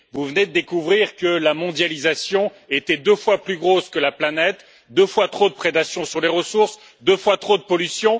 Vous venez de découvrir que la mondialisation était deux fois plus grosse que la planète, qu'il y avait deux fois trop de prédation sur les ressources, deux fois trop de pollution.